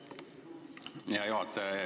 Aitäh, hea juhataja!